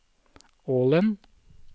Ålen